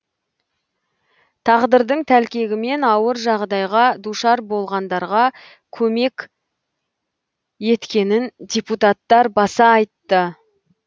тағдырдың тәлкегімен ауыр жағдайға душар болғандарға көмек еткенін депутаттар баса айтты